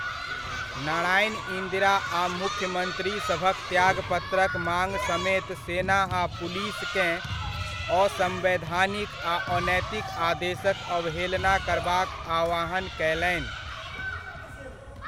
नारायण इन्दिरा आ मुख्यमन्त्री सभक त्यागपत्रक माङ् समेत सेना आ पुलिसकेँ असम्वैधानिक आ अनैतिक आदेशक अवहेलना करबाक आह्वान कयलनि।